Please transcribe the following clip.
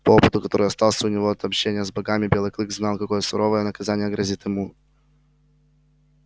по опыту который остался у него от общения с богами белый клык знал какое суровое наказание грозит ему